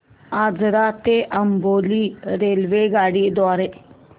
आजरा ते अंबोली रेल्वेगाडी द्वारे